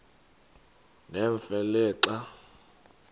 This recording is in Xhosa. nemfe le xa